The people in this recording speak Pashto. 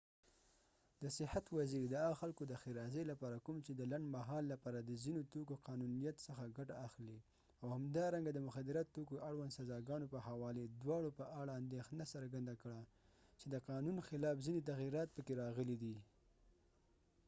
د صحت وزیر د هغو خلکود ښیرازۍ لپاره کوم چې د لنډمهال لپاره د ځینو توکو قانونيت څخه ګټه اخلي او همدارنګه د مخدره توکو اړوند سزاګانو په حوالې دواړو په اړه اندیښنه څرګنده کړه چې د قانون خلاف ځینې تغییرات پکې راغلي دي